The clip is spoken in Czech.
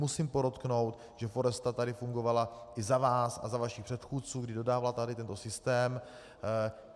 Musím podotknout, že Foresta tady fungovala i za vás a za vašich předchůdců, kdy dodávala tady tento systém.